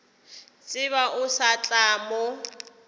tsebe o sa tla mo